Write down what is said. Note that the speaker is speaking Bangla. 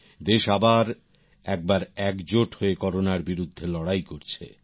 দেশ আবার একবার একজোট হয়ে করোনার বিরুদ্ধে লড়াই করছে